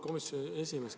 Auväärt komisjoni esimees!